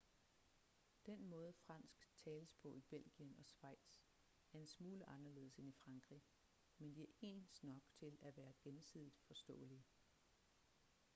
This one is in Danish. den måde fransk tales på i belgien og schweiz er en smule anderledes end i frankrig men de er ens nok til at være gensidigt forståelige